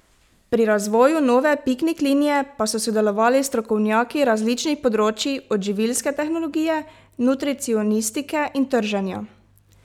Pri razvoju nove piknik linije pa so sodelovali strokovnjaki različnih področij, od živilske tehnologije, nutricionistike in trženja.